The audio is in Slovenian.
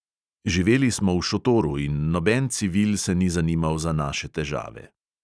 Živeli smo v šotoru in noben civil se ni zanimal za naše težave.